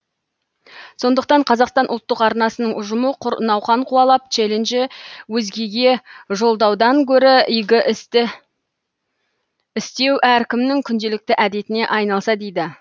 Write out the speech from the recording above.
сондықтан қазақстан ұлттық арнасының ұжымы құр науқан қуалап челленджі өзгеге жолдаудан гөрі игі істі істеу әркімнің күнделікті әдетіне айналса дейді